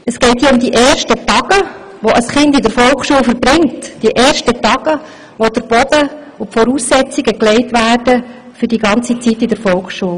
Es geht um die ersten Tage, die ein Kind in der Volksschule verbringt, die ersten Tage, in welchen der Boden und die Voraussetzungen gelegt werden für die gesamte Zeit in der Volksschule.